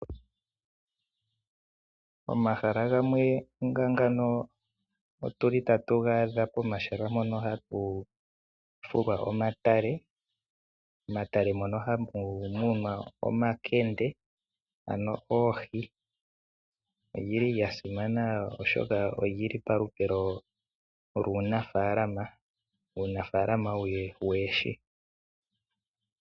Omahala gamwe nga ngano otu li tatu ga adha pomahala mpono hapu fulwa omatale. Momatale mono hamu munwe omakende, ano oohi. Olya simana oshoka oli li palupe luunafaalama, uunafaalama woohi.